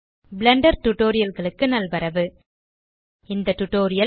Blender Tutorialகளுக்கு நல்வரவு இந்த டியூட்டோரியல்